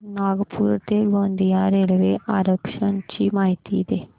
नागपूर ते गोंदिया रेल्वे आरक्षण ची माहिती दे